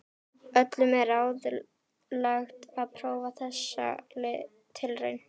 Öllum er ráðlagt að prófa þessa tilraun.